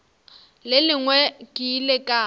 le lengwe ke ile ka